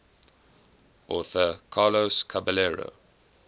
author carlos caballero